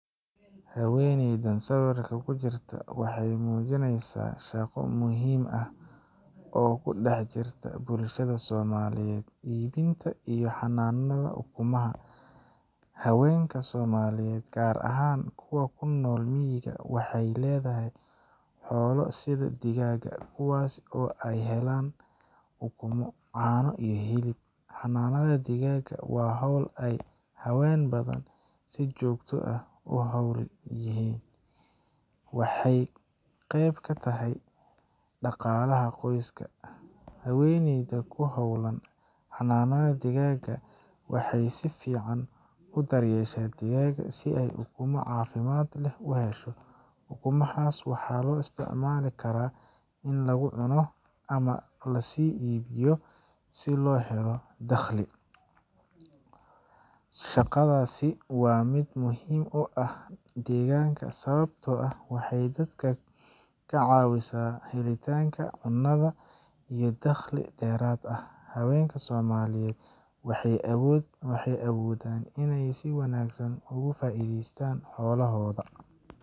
Haweeneydan sawirka ku jirta waxay muujinaysaa shaqo muhiim ah oo ku dhex jirta bulshada Soomaaliyeed ibinta iyo xanaanada ukumaha. Haweenka Soomaaliyeed, gaar ahaan kuwa ku nool miyiga, waxay leedahay xoolo sida digaagga, kuwaas oo ay ka helaan ukumo, caano, iyo hilib. Xanaanada digaagga waa hawl ay haween badan si joogto ah ugu hawlan yihiin, waxayna qeyb ka tahay dhaqaalaha qoyska. Haweeneyda ku hawlan xanaanada digaagga waxay si fiican u daryeeshaa digaagga, si ay ukumo caafimaad leh u hesho. Ukumahaas waxaa loo isticmaali karaa in lagu cuno, ama si loo iibiyo si loo helo dakhli. Shaqadaasi waa mid muhiim u ah deegaanka, sababtoo ah waxay dadka ka caawisaa helitaanka cunnada iyo dakhli dheeraad ah. Haweenka Soomaaliyeed waxay awoodaan inay si wanaagsan ugu faa’iideystaan xoolahooda.